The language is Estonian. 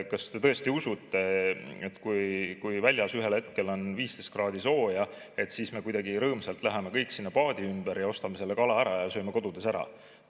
Kas te tõesti usute, et kui väljas on ühel hetkel 15 kraadi sooja, siis me kuidagi rõõmsalt läheme kõik sinna paadi ümber, ostame selle kala ära ja sööme kodus ära?